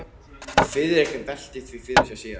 Friðrik velti því fyrir sér síðar.